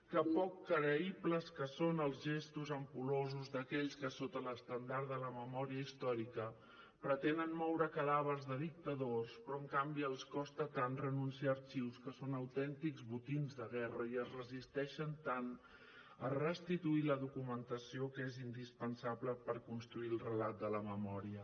que poc creïbles que són els gestos ampul·losos d’aquells que sota l’estendard de la memòria històrica pretenen moure cadàvers de dictadors però en canvi els costa tant renunciar a arxius que són autèntics botins de guerra i es resisteixen tant a restituir la documentació que és indispensable per construir el relat de la memòria